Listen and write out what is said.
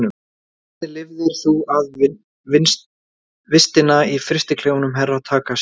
Hvernig lifðir þú af vistina í frystiklefanum Herra Takashi?